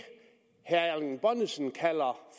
herre erling bonnesen kalder